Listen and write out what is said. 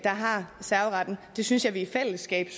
har serveretten det synes jeg vi i fællesskab